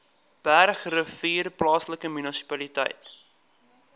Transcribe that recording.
bergrivier plaaslike munisipaliteit